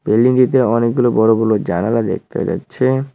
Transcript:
বিল্ডিংটিতে অনেকগুলো বড় বড় জানালা দেখতে যাচ্ছে।